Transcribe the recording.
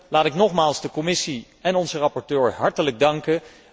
Laat ik nogmaals de commissie en onze rapporteur hartelijk danken.